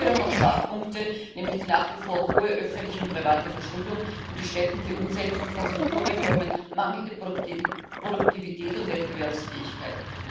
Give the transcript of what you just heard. Es gibt jedoch auch Schwachpunkte, nämlich die nach wie vor hohe öffentliche und private Verschuldung und die schleppende Umsetzung von Strukturreformen, mangelnde Produktivität und Wettbewerbsfähigkeit.